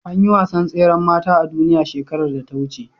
Anyi wasan tseran mata a duniya shekarar da ta wuce